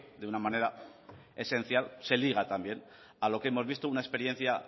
de una manera esencial se liga también a lo que hemos visto una experiencia